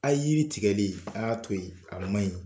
A ye yiri tigɛli a y'a to yen a man ɲi.